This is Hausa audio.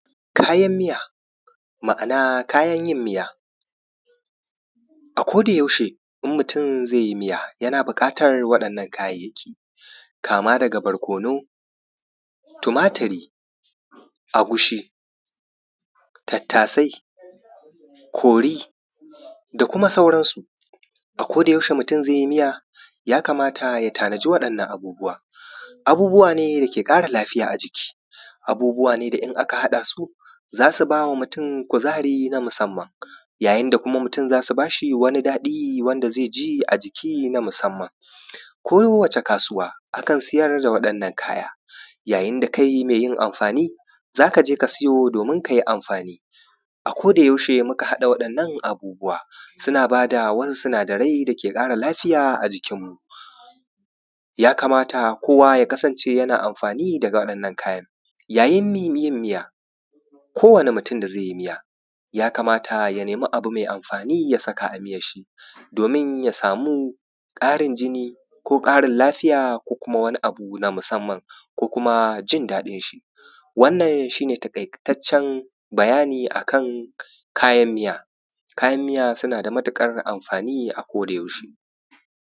Kayan miya ma’ana kayan yin miya, a-ko-da-yaushe in mutum zai yi miya yana buƙatar waɗannan kayayyaki kaama daga barkono, tumatiri, agushi, tattaasai, kori da kuma sauransu. A-ko-da-yaushe mutum zai yi miya, ya kamata ya tanaji waɗannan abubuwa, abubuwa ne da ƙara lafiya a jiki, abubuwa ne da in aka haɗa su za su ba mutum kuzari na musamman yayin da mutum za su baa shi wani daɗi wanda zai ji a jiki na musamman. Ko wace kaasuwa akan siyar da waɗannan kaya, yayin da kai mai yin amfaani za ka je ka siyo doomin ka yi amfaani a-ko-da-yaushe muka haɗa waɗannan abubuwa, suna ba da wasu sinadarai dake ƙara lafiya a jikinmu. Ya kamata koowa ya kasance yana amfaani da waɗannan kayan yayin yin miya, kowane mutum da zai yi miya ya kamata ya nemi abu mai amfaani ya saka a miyasshi doomin ya samu ƙarin jini ko ƙarin lafiya ko kuma wani abu na musamman ko kuma jin daɗin shi. Wannan shi ne taƙaitaccen bayani akan kayan miya, kayan miya suna da matuƙar amfaani a-ko-da-yaushe.